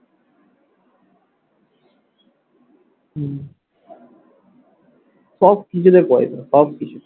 উহ সব কিছুতে পয়সা সব কিছুতে